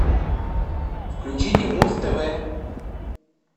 включите муз тв